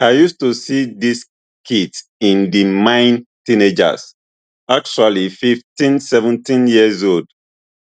i use to see dis kids in di mine teenagers actually fifteen seventeen year olds